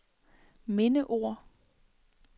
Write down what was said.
mindeord